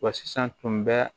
Wa sisan tun bɛ